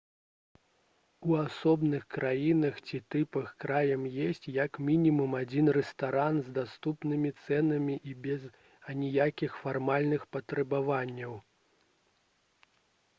у асобных краінах ці тыпах крам ёсць як мінімум адзін рэстаран з даступнымі цэнамі і без аніякіх фармальных патрабаванняў